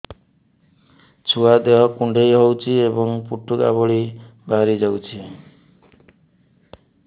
ଛୁଆ ଦେହ କୁଣ୍ଡେଇ ହଉଛି ଏବଂ ଫୁଟୁକା ଭଳି ବାହାରିଯାଉଛି